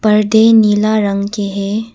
पर्दे नीला रंग के है।